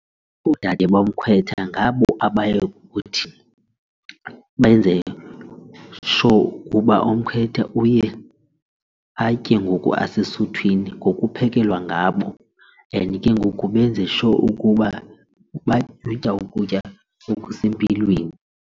Oodade bomkhwetha ngabo abayokuthi benze-sure ukuba umkhwetha uye atye ngoku esesuthwini ngokukuphekelwa ngabo and ke ngoku benze-sure ukuba utya ukutya okusempilweni.